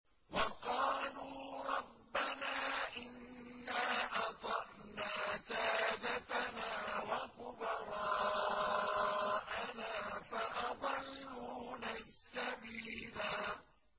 وَقَالُوا رَبَّنَا إِنَّا أَطَعْنَا سَادَتَنَا وَكُبَرَاءَنَا فَأَضَلُّونَا السَّبِيلَا